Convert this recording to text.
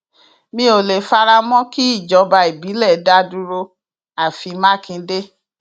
mi ò lè fara mọ kí ìjọba ìbílẹ dá dúró àfi mákindé